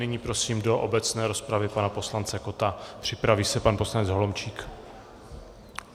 Nyní prosím do obecné rozpravy pana poslance Kotta, připraví se pan poslanec Holomčík.